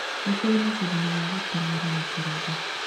Nĩ kũrĩ macindano ma gũteng'era na kũrũga.